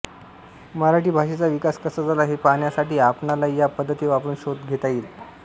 मराठी भाषेचा विकास कसा झाला हे पाहण्यासाठी आपणालाही या पद्धती वापरून शोध घेता येईल